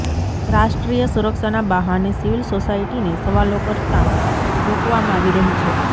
રાષ્ટ્રીય સુરક્ષાના બહાને સિવિલ સોસાયટીને સવાલો કરતાં રોકવામાં આવી રહી છે